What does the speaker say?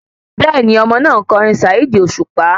Bẹ́ẹ̀ni, Ọmọ náà ńkọ orin Saheed Osupa